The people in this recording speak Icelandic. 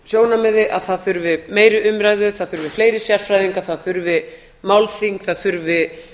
sjónarmiði að það þurfi meiri umræðu það þurfi fleiri sérfræðinga það þurfi málþing það þurfi